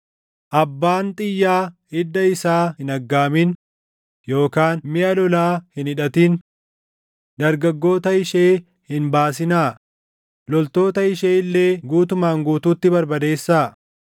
Abbaan xiyyaa iddaa isaa hin aggaamin, yookaan miʼa lolaa hin hidhatin. Dargaggoota ishee hin baasinaa; loltoota ishee illee guutumaan guutuutti barbadeessaa.